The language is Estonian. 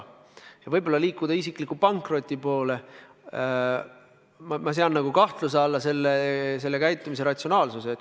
Kui sa võib-olla liigud isikliku pankroti poole, siis ma sean nagu kahtluse alla sellise lahenduse ratsionaalsuse.